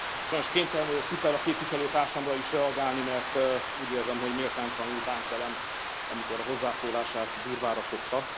Sajnos kénytelen vagyok Pittella képviselő társamra is reagálni, mert úgy érzem, hogy méltánytalanul bánt velem, amikor hozzászólását durvára fogta.